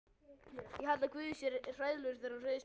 Ég held að guð sé hræðilegur þegar hann reiðist mönnunum.